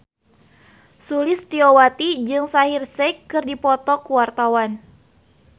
Sulistyowati jeung Shaheer Sheikh keur dipoto ku wartawan